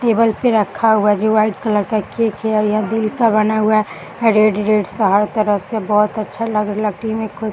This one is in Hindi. टेबल पर रखा हुआ जो वाइट कलर का केक है और यह दिल का बना हुआ है रेड रेड सा हर तरफ से बहुत अच्छा लग --